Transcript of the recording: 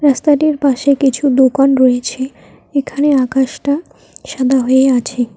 রাস্তাটির পাশে কিছু দোকান রয়েছে এখানে আকাশটা সাদা হয়ে আছে।